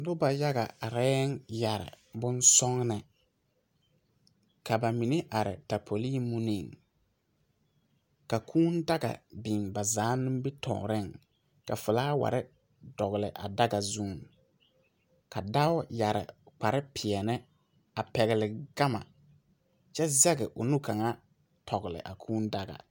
Noba yaga arɛɛ a yɛre bonsɔgene ka ba mine are tapolii muniŋ ka κūūdaga biŋ ba zaa nimitɔɔreŋ ka felaaware dogli a daga zuŋ ka dao yɛre kpare peɛne a pɛgle gama kyɛ zɛge o nu kaŋa tɔgle a kūūdaga.